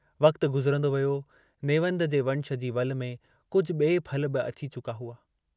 वक्तु गुज़िरंदो वियो नेवंद जे वंश जी वलि में कुझु बिए फल बि अची चुका हुआ।